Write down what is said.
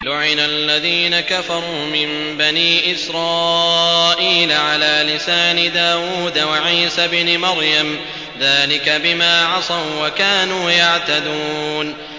لُعِنَ الَّذِينَ كَفَرُوا مِن بَنِي إِسْرَائِيلَ عَلَىٰ لِسَانِ دَاوُودَ وَعِيسَى ابْنِ مَرْيَمَ ۚ ذَٰلِكَ بِمَا عَصَوا وَّكَانُوا يَعْتَدُونَ